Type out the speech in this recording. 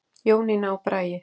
Jónína og Bragi.